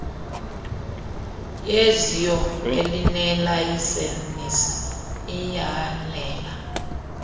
yezio elinelayisenisi iyanela